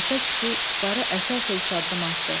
Musa kişi qışları əsə-əsə üç addım atdı.